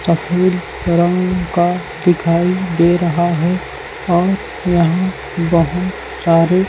सफ़ेद रंग का दिखाई दे रहा है और यहाँ बहोत सारी--